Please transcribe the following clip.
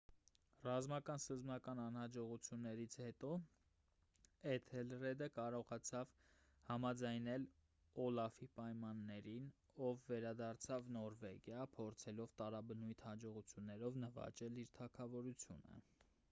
ռազմական սկզբնական անհաջողություններից հետո էթելրեդը կարողացավ համաձայնել օլաֆի պայմաններին ով վերադարձավ նորվեգիա փորձելով տարաբնույթ հաջողություններով նվաճել իր թագավորությունը